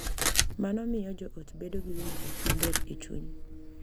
Mano miyo joot bedo gi winjruok maber e chuny